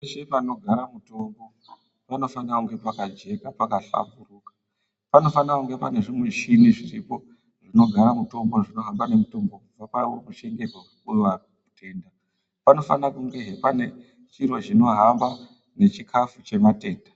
Peshe panogara mitombo panofanirwa kunge pakajeka pakahlamburuka, panofanirwa kunge pane zvimuchini zviripo zvinogara mutombo uye zvinohamba nemitombo nezvimuchini zvinohamba nechikafu chevatenda.